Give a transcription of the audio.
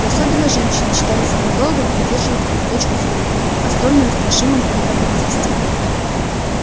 и особенно женщины считали своим долгом поддерживать эту точку зрения о столь неустрашимом контрабандисте